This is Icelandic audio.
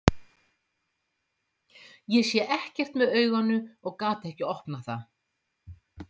Ég sá ekkert með auganu og gat ekkert opnað það.